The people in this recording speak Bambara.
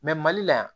mali la yan